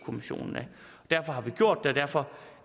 kommissionen derfor har vi gjort det og derfor